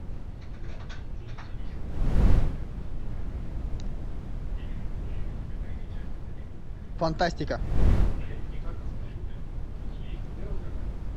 фантастика